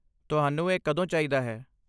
ਤੁਹਾਨੂੰ ਇਹ ਕਦੋਂ ਚਾਹੀਦਾ ਹੈ?